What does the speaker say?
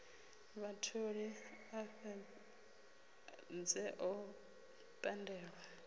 vhatholi a fhedze o pandelwa